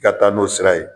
I ka taa n'o sira ye